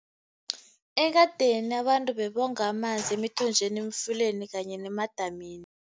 Ekadeni abantu bebonga amanzi emthonjeni, emfuleni kanye nemadamini.